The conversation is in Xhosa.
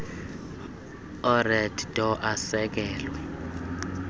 ered door asekelwe